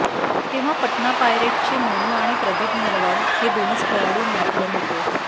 तेव्हा पटना पायरेट्सचे मोनू आणि प्रदीप नरवाल हे दोनच खेळाडू मॅटवर होते